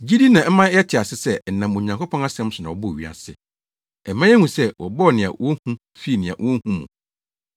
Gyidi na ɛma yɛte ase sɛ ɛnam Onyankopɔn asɛm so na wɔbɔɔ wiase. Ɛma yehu sɛ wɔbɔɔ nea wohu fii nea wonhu mu.